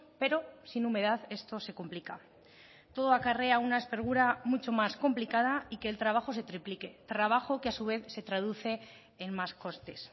pero sin humedad esto se complica todo acarrea una espergura mucho más complicada y que el trabajo se triplique trabajo que a su vez se traduce en más costes